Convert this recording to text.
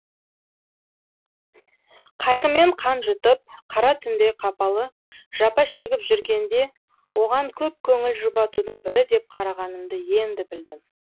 қайғымен қан жұтып қара түндей қапалы жапа шегіп жүргенде оған көп көңіл жұбатудың бірі деп қарағанымды енді білдім